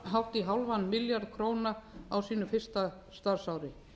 hátt í hálfan milljarð króna á sínu fyrsta starfsári